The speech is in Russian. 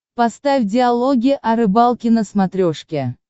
поставь диалоги о рыбалке на смотрешке